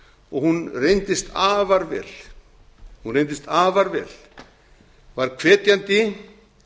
og hún reyndist afar vel var hvetjandi